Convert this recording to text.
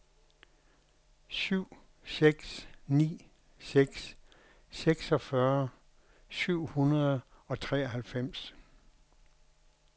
syv seks ni seks seksogfyrre syv hundrede og treoghalvfems